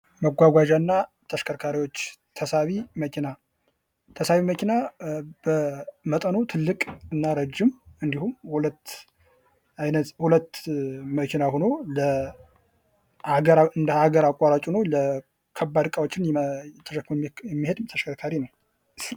መጕጕዣ እና ተሽከርካሪዎች ተሳቢ መኪና ተሳቢ መኪና በመጠኑ ትልቅ እና ረጅም እንዲሁም ሁለት አይነት ሁለት መኪና ሆኖ እንደ ሀገር አቋራጭ ሆኖ እንደ ከባድ እቃዎችን ተሸክሞ የሚሄድ ተሽከርካሪ ነው::